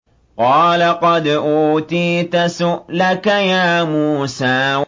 قَالَ قَدْ أُوتِيتَ سُؤْلَكَ يَا مُوسَىٰ